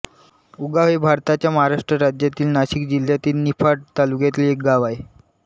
उगाव हे भारताच्या महाराष्ट्र राज्यातील नाशिक जिल्ह्यातील निफाड तालुक्यातील एक गाव आहे